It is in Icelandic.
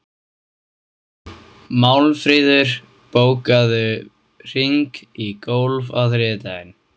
Málmfríður, bókaðu hring í golf á þriðjudaginn.